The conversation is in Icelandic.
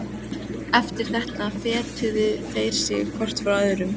Eftir þetta fetuðu þeir sig hvor frá öðrum.